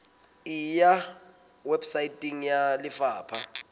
e ya weposaeteng ya lefapha